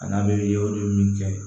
A n'a bɛ ye o de ye min kɛ